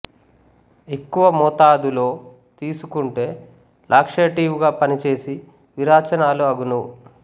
ఎక్కువ మోతాదులో తీసుకుంటే లాక్షేటివ్ గా పనిచేసి విరేచనాలు అగును